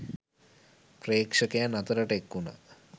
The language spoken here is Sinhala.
ප්‍රේක්ෂකයන් අතරට එක් වුණා